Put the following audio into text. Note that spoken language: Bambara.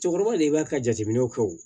Cɛkɔrɔba de b'a ka jateminɛw kɛ o